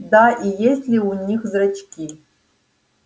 да и есть ли у них зрачки